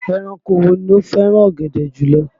Ẹranko wo ló fẹ́ràn ọ̀gẹ̀dẹ̀ jùlọ?